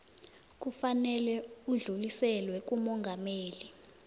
kufanele udluliselwe kumongameli